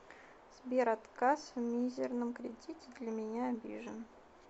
сбер отказ в мизирном кредите для меня обижен